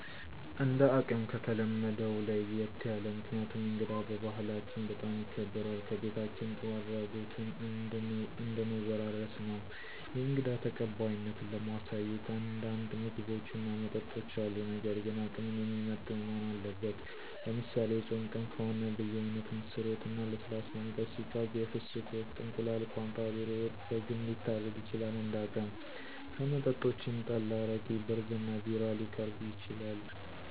እንደ አቅም ከተለመደው ለየት ያለ። ምክንያቱም እንግዳ በባህላችን በጣም ይከበራል ከቤታችን ጥሩ አድራጎትን እንድን ወራረስ ነው። የእንግዳ ተቀባይነትን ለማሳየት አንዳንድ ምግቦች እና መጠጦች አሉ ነገር ግን አቅምን የሚመጥኑ መሆን አለበት። ለምሳሌ፦ የፆም ቀን ከሆነ በየአይነት፣ ምስር ወጥ፣ እና ለስላሳ መጠጥ ሲቀርብ የፍስክ ወቅት ከሆነ፦ እንቁላል፣ ቋንጣ፣ ዶሮ ወጥ፣ በግም ሊታረድ ይችላል እንደ አቅም። ከመጠጦችም፣ ጠላ አረቂ፣ ብርዝ እና ቢራ ሊቀርብ ይችላል።